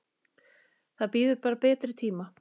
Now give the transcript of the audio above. Það bíður bara betri tíma.